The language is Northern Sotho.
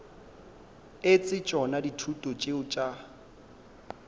etse tšona dithuto tšeo tša